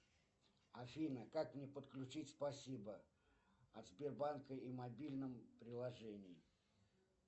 афина как мне подключить спасибо от сбербанка и мобильном приложении